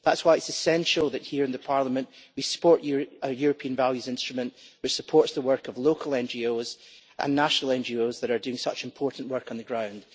That's why it is essential that here, in the Parliament, we support a European values instrument, which supports the work of local NGOs and national NGOs that are doing such important work on the ground.